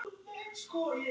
Votta ég mína dýpstu samúð.